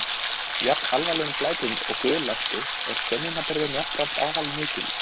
við jafn alvarlegum glæpum og guðlasti er sönnunarbyrðin jafnframt afar mikil